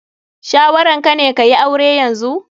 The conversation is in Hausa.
Shawaran ka ne ka yi aure yanzu?